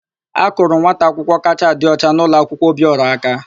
A kụrụ nwata akwụkwọ kachaa adị ọcha n'ụlọakwụkwọ Obiọra aka.